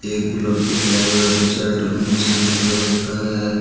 एक गुलाबी पहेरा है बुशर्ट मोटरसाइंकल पे बैठा है।